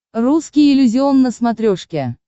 русский иллюзион на смотрешке